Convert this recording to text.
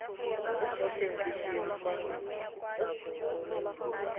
tlosa sengwe le sengwe fa